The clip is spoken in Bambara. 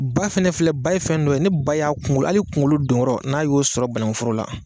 Ba fɛnɛ filɛ, ba ye fɛn dɔ ye, ni ba y'a kungolo hali kungolo donyɔrɔ n'a y'o sɔrɔ banakuforo la,